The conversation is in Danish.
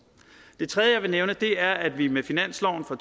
det tredje jeg vil nævne er at vi med finansloven for